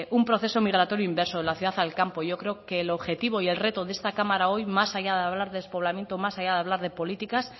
un proceso migratorio inverso de la ciudad al campo yo creo que el objetivo y el reto de esta cámara hoy más allá de hablar de despoblamiento más allá de hablar de políticas